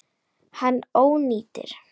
Hann ónýtir.